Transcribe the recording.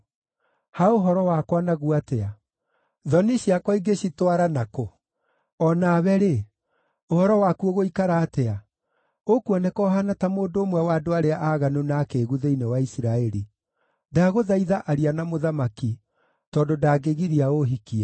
Ha ũhoro wakwa naguo atĩa? Thoni ciakwa ingĩcitwara nakũ? O nawe-rĩ, ũhoro waku ũgũikara atĩa? Ũkuoneka ũhaana ta mũndũ ũmwe wa andũ arĩa aaganu na akĩĩgu thĩinĩ wa Isiraeli. Ndagũthaitha aria na mũthamaki; tondũ ndangĩgiria ũũhikie.”